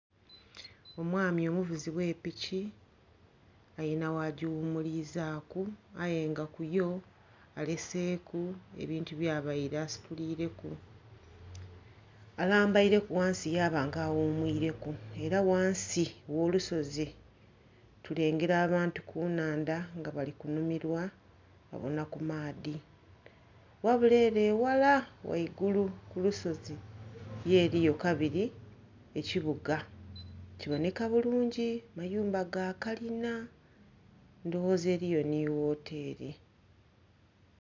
Omwami omuvuzi ogh'epiki alina ghajighumulizaku aye nga kuyo aleeseku ebintu byabaire asiturire ku alambaireku ghansi yaba nga aghumwire ku era ghansi ogh'olusozi tulengera abantu kunhandha nga bali kunhumirwa eghala kumaadhi ghabuli ere eghala ghaigulu kulusozi yo eriyo kabiri ekibuga kiboneka bulungi amayumba gakalina ndhoghoza eriyo nhi wuuteli.